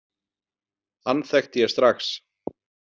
Hann þekkti ég strax.